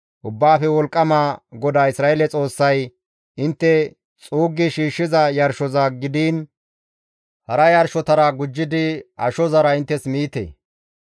Ubbaafe Wolqqama GODAA Isra7eele Xoossay, «Intte xuuggi shiishshiza yarshoza gidiin hara yarshotara gujjidi ashozara inttes miite.